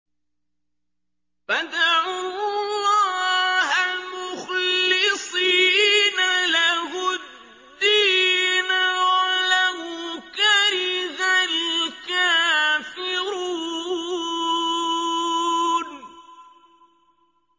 فَادْعُوا اللَّهَ مُخْلِصِينَ لَهُ الدِّينَ وَلَوْ كَرِهَ الْكَافِرُونَ